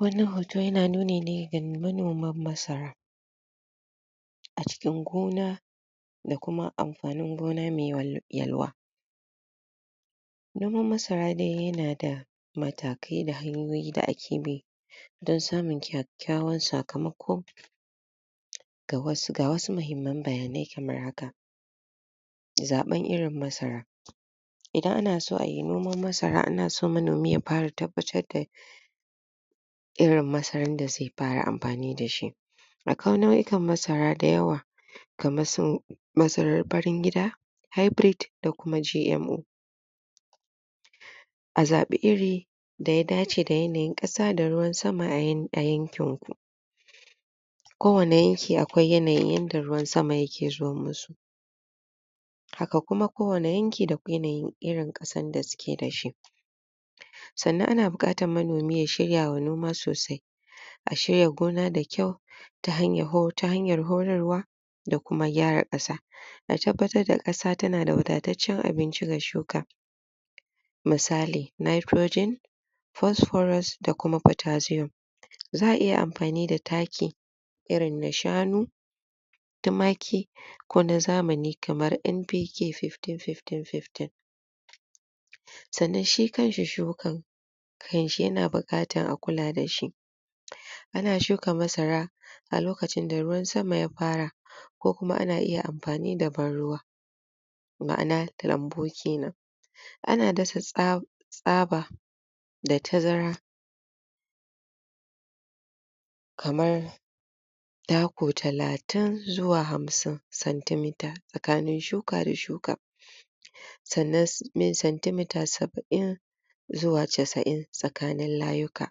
Wannan hoto yana nuni ne ga manoman masara a cikin gona da kuma amfanin gona mai yalwa. Noman masara dai yanada matakai da hanyoyi da ake bi don samun kyakyawan sakamako Ga wasu muhimman bayanai kaman haka, zaɓan irin masara Idan ana son ayi noman masara ana so manomi ya fara tabbatar da irin masaran da zai fara amfani dashi Akwai nau'ikan masara da yawa kaman su masaran farin gida, hybrid, da kuma GMO. A zabi iri da ya dace da yanayin ƙasa da ruwan sama a yankin ku. Ko wane yanki akwai yanayin yanda ruwan sama yake zo musu Haka kuma ko wane yanki da yanayin irin kasan da suke da shi Sannan ana bukatan manomi ya shirya ma noma sosai A shirya gona da kyau, ta hanyar horarwa da kuma gyara kasa. A tabbatar da ƙasa tanada wadataccen abinci ga shuka misali nitrogen, phosphorous da kuma potassium. Za a iya amfani da taki irin na shanu tumaki, ko na zamani kaman MPK 151515 Sannan shi kanshi shukan kanshi ya na buƙatan a kula dashi A na shuka masara a lokacin da ruwan sama ya fara ko kuma ana iya amfani da ban ruwa ma'ana lambu kenan A na dasa tsa tsaba da tazara kamar taku talatin zuwa hamsin cm tsakanin shuka da shuka. Sannan mai cm saba'in zuwa casa'in tsakanin layuka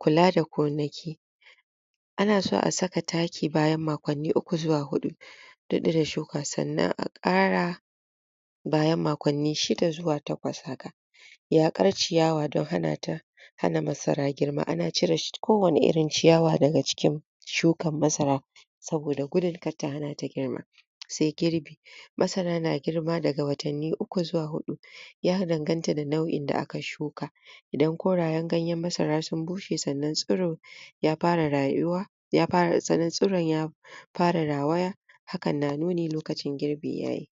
kula da gonaki Ana so a saka taki bayan makonni uku zuwa hudu da shuka sannan a ƙara bayan makonni shida zuwa takwas haka yaƙkar ciyawa don hanata hana masara girma. Ana cire ko wani irin ciyawa daga cikin shukan masara saboda gudun kar ta hanata girma Sai girbi Masara na girba daga watanni uku zuwa hudu ya danganta da nau'in da aka shuka don korayen ganyen masara sun bushe sannan sun ya fara rayuwa ya fara tsiron ya fara rawaya hakan na nuni lokacin girbi ya yi.